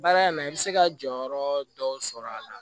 Baara in na i bɛ se ka jɔyɔrɔ dɔw sɔrɔ a la